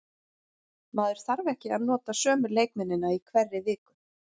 Maður þarf ekki að nota sömu leikmennina í hverri viku.